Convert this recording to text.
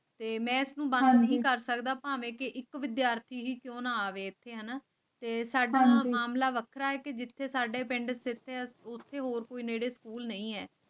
ਤੇ ਮੈਨੂੰ ਬੰਦ ਨਹੀਂ ਕਰ ਸਕਦਾ ਭਾਵੇਂ ਇਹ ਕਿਹੀ ਵਿਦਿਆਰਥੀ ਕਿਉਂ ਨਾ ਆਵੇ ਤੇ ਸਾਡਾ ਦਿਮਾਗ ਲਾ ਰੱਖਿਆ ਹੈ ਕਿ ਜਿਥੇ ਸਾਡੇ ਪਿੰਡ ਫਤਿਹਪੁਰ ਨੇੜੇ ਸਕੂਲ ਨਹੀਂ ਹੈ